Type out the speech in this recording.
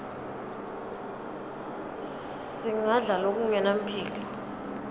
singadla lokungenampilo